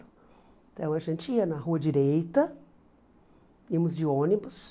Então, a gente ia na rua direita, íamos de ônibus,